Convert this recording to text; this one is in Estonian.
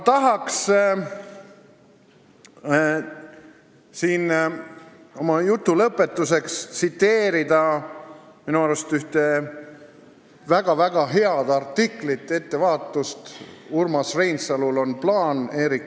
Tahaksin oma jutu lõpetuseks tsiteerida minu arust ühte väga-väga head artiklit "Ettevaatust, Urmas Reinsalul on plaan!".